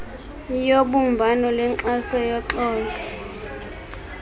yobumbano lwenkxaso yoxolo